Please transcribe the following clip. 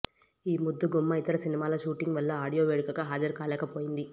ఈ ముద్దుగుమ్మ ఇతర సినిమాల షూటింగ్ వల్ల ఆడియో వేడుకకి హాజరు కాలేకపోయింది